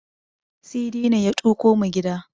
Sidi ne ya tuƙo mu gida.